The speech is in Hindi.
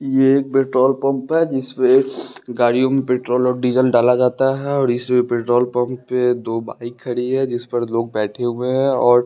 यह एक पेट्रोल पंप है जिसमें गाड़ियों में पेट्रोल और डीजल डाला जाता है और इस पेट्रोल पंप पे दो बाइक खड़ी है जिस पर लोग बैठे हुए हैं और ---